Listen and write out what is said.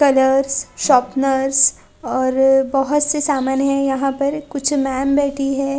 Colours sharpeners और बहोत से समान है यहाँ पर कुछ मैम बैठी है।